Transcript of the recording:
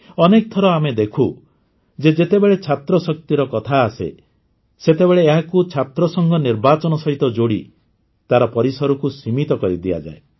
ଅନେକ ଥର ଆମେ ଦେଖୁ ଯେ ଯେତେବେଳେ ଛାତ୍ରଶକ୍ତିର କଥା ଆସେ ସେତେବେଳେ ଏହାକୁ ଛାତ୍ରସଂଘ ନିର୍ବାଚନ ସହିତ ଯୋଡ଼ି ତାର ପରିସରକୁ ସୀମିତ କରିଦିଆଯାଏ